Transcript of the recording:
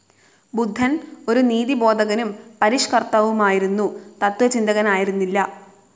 ബുദ്ധൻ, ഒരു നീതിബോധകനും പരിഷ്കർത്താവുമായിരുന്നു, തത്വചിന്തകനായിരുന്നില്ല.